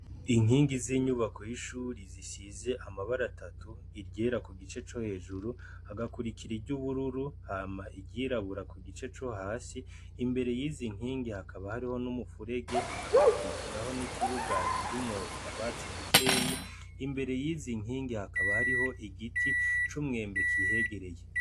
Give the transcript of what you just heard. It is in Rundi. Inkingi z'inyubako y'ishuri zisize amabara atatu, iryera ku gice co hejuru hagakurikira iryubururu hama iryirabura ku gice co hasi, imbere yizi nkingi hakaba hariho n'umufurege hagakurikiraho n'ikibuga kirimwo utwatsi dukeyi, imbere yizi nkingi hakaba hariho igiti c'umwembe kihegereye.